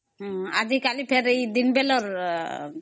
ଆଜି କାଲି ପୁଣି ଏ ଦିନ ବେଳର